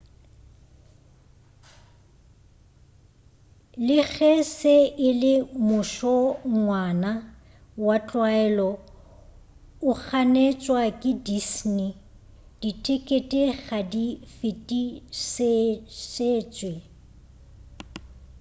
le ge se e le mošongwana wa tlwaelo o ganetšwa ke disney dithekete ga di fetišetšwe